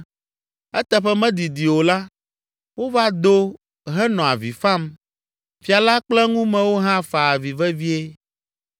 Eteƒe medidi o la, wova do henɔ avi fam. Fia la kple eŋumewo hã fa avi vevie.